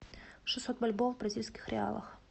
шестьсот бальбоа в бразильских реалах